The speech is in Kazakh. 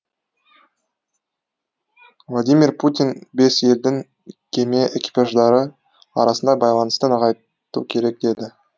владимир путин бес елдің кеме экипаждары арасында байланысты нығайту керек деді